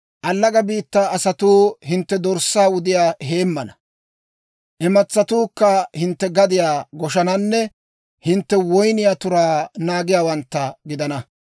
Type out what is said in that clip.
Allaga biittaa asatuu hintte dorssaa wudiyaa heemmana; imatsatuukka hintte gadiyaa goshananne hintte woyniyaa turaa naagiyaawantta gidana.